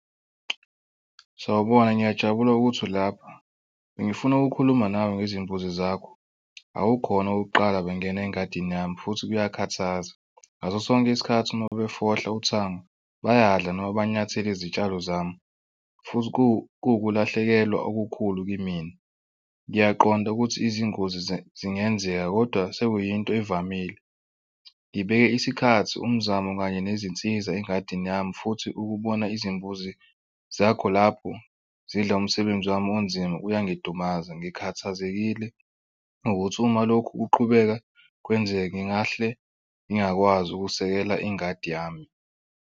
Sawubona ngiyajabula ukuthi ulapha bengifuna ukukhuluma nami ngezimbuzi zakho, akukhona okokuqala bengena engadini yami futhi kuyakhathaza. Ngaso sonke isikhathi uma befohla uthango bayadla noma banyathele izitshalo zami futhi kuwukulahlekelwa okukhulu kimina. Ngiyaqonda ukuthi izingozi zingenzeka kodwa sekuyinto evamile. Ngibeke isikhathi umzamo kanye nezinsiza engadini yami futhi ukubona izimbuzi zakho lapho zidla umsebenzi wami onzima uyangidumaza. Ngikhathazekile ukuthi uma lokhu kuqhubeka kwenzeke, ngingahle ngingakwazi ukusekela ingadi yami.